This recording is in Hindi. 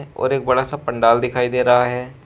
और एक बड़ा सा पंडाल दिखाई दे रहा है।